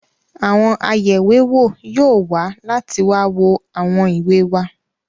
Àwọn ayẹ̀wéwò yóò wá láti wá wo àwọn ìwé wa.